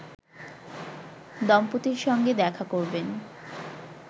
দম্পতির সঙ্গে দেখা করবেন